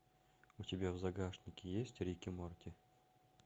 у тебя в загашнике есть рик и морти